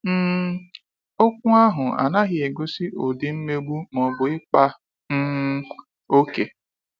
um Okwu ahụ anaghị egosi ụdị mmegbu ma ọ bụ ịkpa um oke.